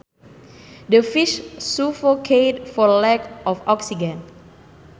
The fish suffocated for lack of oxygen